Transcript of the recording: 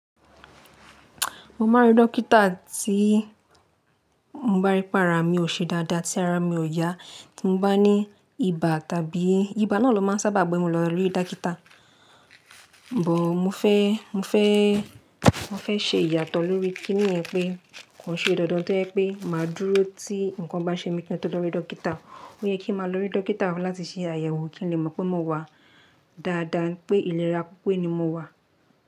Mo máa ń rí dọ́kítà tí mo bá rí pé ara mi ò ṣe dáadáa, tí ara mi ò yá tí mo bá ní ibà tàbí ibà náà ló máa n sábà gbọ̀n mi lọ rí dọ́kítà. Bò mo fẹ́, mo fẹ́, mo fẹ́ ṣe ìyàtọ̀ lórí kín níyẹn pé kàn ṣe dandan tó yẹ pé mà á dúró tí nǹkan bá ṣe mí kí n tó lọ rí dọ́kítà. Ó yẹ kí máa lọ rí dọ́kítà fún láti ṣe àyẹ̀wò kí n le mọ̀ pé mo wà dáadáa, pé ìlera pipe ni mo wà.